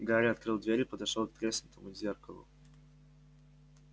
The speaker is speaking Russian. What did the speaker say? гарри открыл дверь и подошёл к треснутому зеркалу